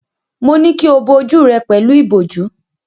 Mo ní kí o bo ojú rẹ pẹ̀lú ìbòjú.